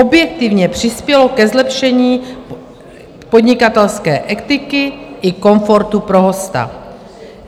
Objektivně přispělo ke zlepšení podnikatelské etiky i komfortu pro hosta.